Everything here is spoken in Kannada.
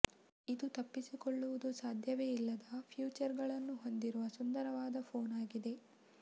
ಇದು ತಪ್ಪಿಸಿಕೊಳ್ಳುವುದು ಸಾಧ್ಯವೇ ಇಲ್ಲದ ಫೀಚರ್ಗಳನ್ನು ಹೊಂದಿರುವ ಸುಂದರವಾದ ಫೋನ್ ಆಗಿದೆ